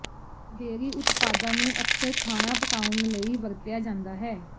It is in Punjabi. ਡੇਅਰੀ ਉਤਪਾਦਾਂ ਨੂੰ ਅਕਸਰ ਖਾਣਾ ਪਕਾਉਣ ਲਈ ਵਰਤਿਆ ਜਾਂਦਾ ਹੈ